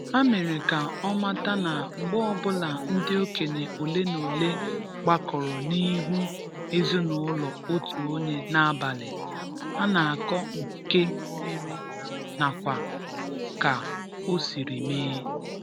ha mere ka ọ mata na mgbe ọbula ndị okenye ole na ole gbakọrọ n'ihu ezinụlọ otu onye n’abalị, ha na-akọ nke mere nakwa ka o siri mee